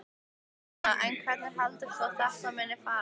Jóhanna: En hvernig heldur þú að þetta muni fara?